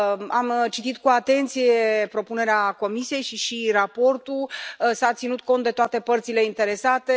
Am citit cu atenție propunerea Comisiei și raportul. S a ținut cont de toate părțile interesate.